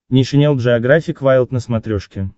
нейшенел джеографик вайлд на смотрешке